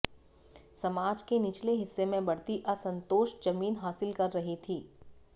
समाज के निचले हिस्से में बढ़ती असंतोष जमीन हासिल कर रही थी